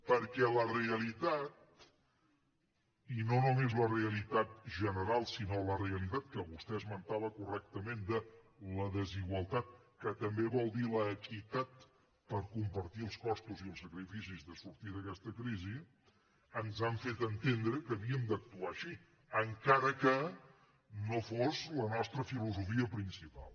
perquè la realitat i no només la realitat general sinó la realitat que vostè esmentava correctament de la desigualtat que també vol dir l’equitat per compartir els costos i els sacrificis de sortir d’aquesta crisi ens ha fet entendre que havíem d’actuar així encara que no fos la nostra filosofia principal